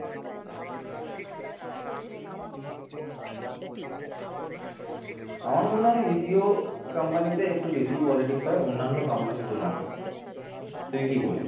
আমার মনে হয় BPOcompany তে একটু বেশি politics হয় অন্যান্য company তুলনায় তুই কি বলিস